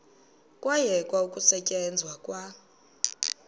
kwayekwa ukusetyenzwa kwa